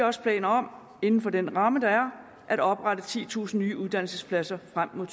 også planer om inden for den ramme der at oprette titusind nye uddannelsespladser frem mod